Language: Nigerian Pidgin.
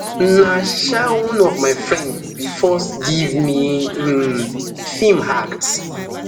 na um one of my friend bin first give me um um feem act